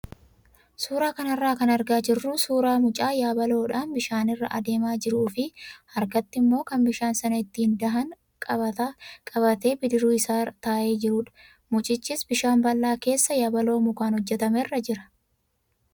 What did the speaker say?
Suuraa kanarraa kan argaa jirru suuraa mucaa yabaloodhaan bishaanirra adeemaa jiruu fii harkatti immoo kan bishaan sana ittiin dhahan qabatee bidiruu isaarra taa'ee jirudha. Mucichis bishaan bal'aa keessa yabaloo mukaan hojjatamerra jira.